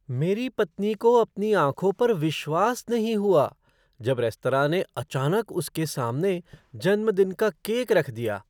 मेरी पत्नी को अपनी आँखों पर विश्वास नहीं हुआ जब रेस्तरां ने अचानक उसके सामने जन्मदिन का केक रख दिया।